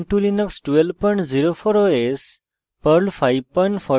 ubuntu linux 1204 os